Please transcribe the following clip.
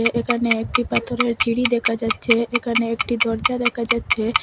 এখানে একটি পাথরের সিঁড়ি দেকা যাচ্চে এখানে একটি দরজা দেকা যাচ্চে।